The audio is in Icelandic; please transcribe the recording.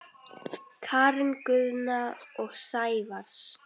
Karen Guðna og Sævars